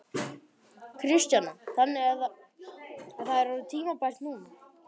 Kristjana: Þannig að það er orðið tímabært núna?